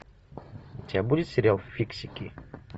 у тебя будет сериал фиксики